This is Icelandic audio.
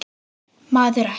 Ekkert, maður, ekkert.